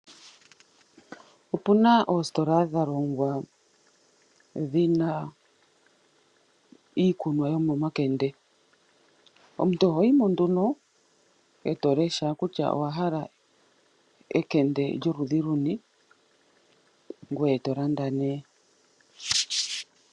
Opuna oositola dha longwa dhina iikunwa yomomakende. Omuntu ohoyi mo nduno eto lesha kutya owa hala ekende lyoludhi luni, ngweye to landa nee.